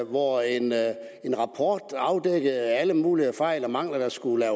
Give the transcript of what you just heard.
hvor en rapport afdækkede alle mulige fejl og mangler der skulle